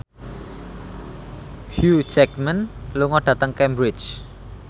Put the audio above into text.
Hugh Jackman lunga dhateng Cambridge